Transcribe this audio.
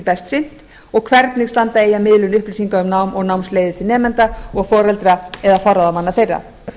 best sinnt og hvernig standa eigi að miðlun upplýsinga um nám og námsleiðir til nemenda og foreldra eða forráðamanna þeirra